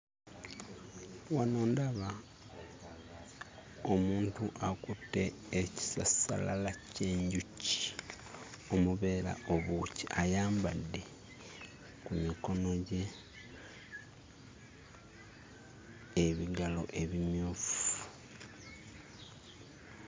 Wano ndaba omuntu akutte ekisassalala ky'enjuki omubeera obwoki, ayambadde ku mikono gye ebigalo ebimyufu.